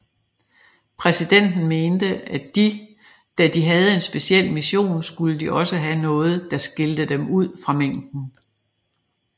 Præsidenten mente at da de havde en speciel mission skulle de også have noget der skilte dem ud fra mængden